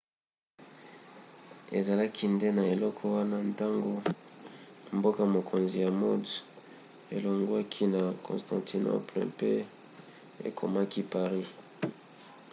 ezalaki nde na eleko wana ntango mboka-mokonzi ya mode elongwaki na constantinople pe ekomaki paris